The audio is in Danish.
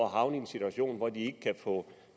havner i en situation hvor de ikke kan få